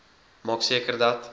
maak seker dat